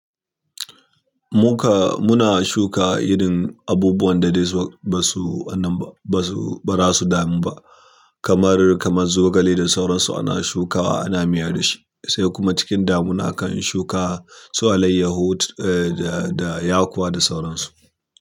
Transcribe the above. Muka-- muna shuka irin abubuwan da dai ba su wanan ba, ba su, ba za su damu ba. Kamar, kama zogale da sauransu ana shukawa, ana miyar da shi. Sai kuma cikin damuna akan shuka su alaiyahut, eh, da, da yakowa da sauransu.